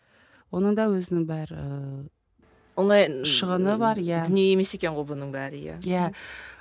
оның да өзінің бәрі дүние емес екен ғой мұның бәрі иә иә